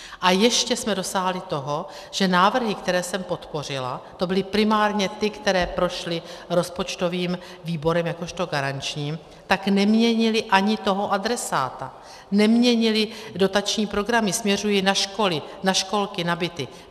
A ještě jsme dosáhli toho, že návrhy, které jsem podpořila, to byly primárně ty, které prošly rozpočtovým výborem jakožto garančním, tak neměnily ani toho adresáta, neměnily dotační programy, směřují na školy, na školky, na byty.